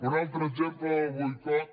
un altre exemple del boicot